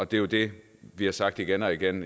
det er jo det vi har sagt igen og igen